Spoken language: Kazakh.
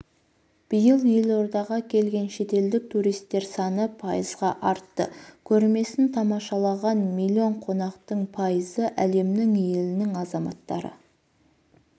биыл елордаға келген шетелдік туристер саны пайызға артты көрмесін тамашалаған миллион қонақтың пайызы әлемнің елінің азаматтары